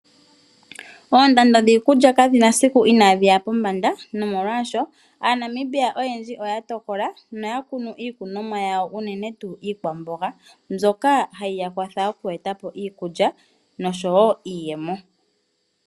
Oondando dhiikulya kadhi na siku inadhi ya pombanda. No molwashoka aaNamibia oyendji oya tokola noya kunu iikunomwa yawo unene tuu iikwamboga, mbyoka hayi ya kwatha oku eta po iikulya noshowo iiyemo.